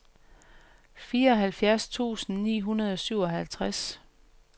fireoghalvfjerds tusind ni hundrede og syvoghalvtreds